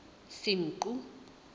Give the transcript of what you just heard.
senqu